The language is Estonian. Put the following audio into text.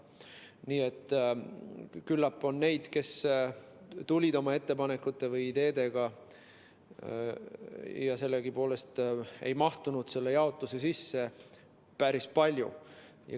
Nii et küllap on neid, kes tulid oma ettepanekute või ideedega, aga sellegipoolest ei mahtunud selle jaotuse sisse, päris palju.